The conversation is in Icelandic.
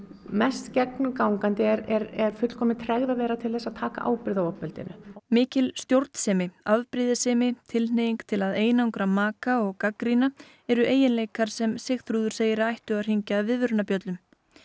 mest gegnumgangandi er fullkomin tregða þeirra til að taka ábyrgð á ofbeldinu mikil stjórnsemi afbrýðisemi tilhneiging til að einangra maka og gagnrýna eru eiginleikar sem Sigþrúður segir að ættu að hringja viðvörunarbjöllum